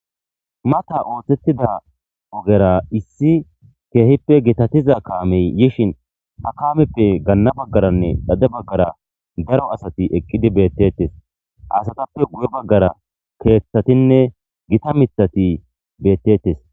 Mata ooththettida ogera issi keehippe gitatiza kaamey yishin ha kaameppe ganna baggaranne dhade baggara daro asati eqqidi beettettes asatappe guye baggara keeththatinne gita mithati beettettes.